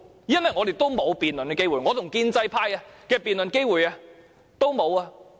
因為我們沒有辯論的機會，我和建制派的辯論機會都沒有。